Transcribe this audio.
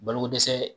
Balokodɛsɛ